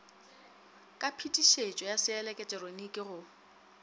ka phetišetšo ya seeleketeroniki go